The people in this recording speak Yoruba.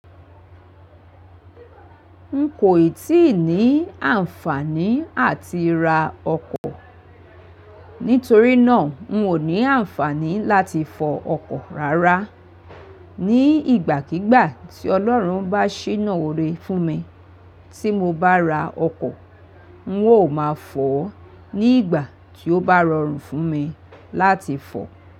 N kò ì tíì ní àǹfààní àti ra ọkọ̀, nítorí náà n ò ní àǹfààní láti fọ ọkọ̀ rárá. Ni ìgbàkígbà tí Ọlọ́run bá ṣènà òré fún mi tí mo bá ra ọkọ̀, n ó máa fọ̀ ọ́ ní ìgbà tí ó bá rọrùn fún mi láti fọ̀ ọ́